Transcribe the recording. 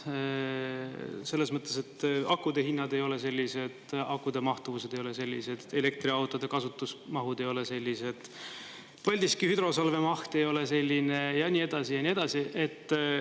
Selles mõttes, et akude hinnad ei ole sellised, akude mahtuvused ei ole sellised, elektriautode kasutusmahud ei ole sellised, Paldiski hüdrosalve maht ei ole selline ja nii edasi ja nii edasi.